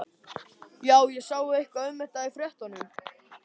Já, ég sá eitthvað um þetta í fréttunum.